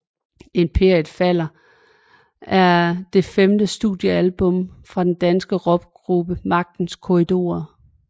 Imperiet falder er det femte studiealbum fra den danske rockgruppe Magtens Korridorer